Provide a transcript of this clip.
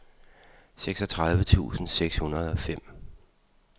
seksogtredive tusind seks hundrede og fem